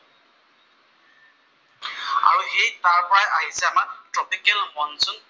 সেইটোৰ পৰাই আহিছে আমাৰ ট্ৰপিকেল মনচুন